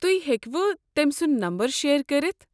تُہۍ ہیٚكوٕ تٔمۍ سُنٛد نمبر شییر کٔرِتھ؟